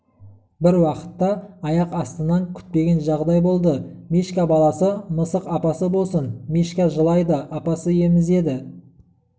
бір уақытта аяқ астынан күтпеген жағдай болды мишка баласы мысық апасы болсын мишка жылайды апасы емізеді